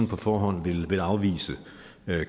på forhånd vil afvise